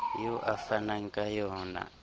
eo o fanang ka yona